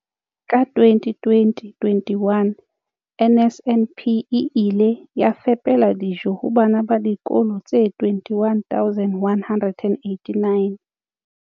Ka 2020 - 21, NSNP e ile ya fepela dijo ho bana ba dikolo tse 21 189.